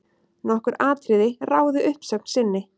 Nokkur atriði ráði uppsögn sinni.